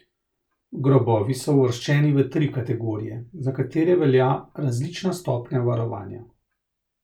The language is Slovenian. Grobovi so uvrščeni v tri kategorije, za katere velja različna stopnja varovanja.